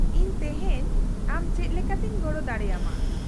-ᱤᱧ ᱛᱤᱦᱮᱧ ᱟᱢ ᱪᱮᱫ ᱞᱮᱠᱟᱛᱮᱧ ᱜᱚᱲᱚ ᱫᱟᱲᱮᱭᱟᱢᱟ ?